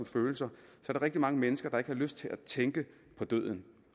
følelser der er rigtig mange mennesker der ikke har lyst til at tænke på døden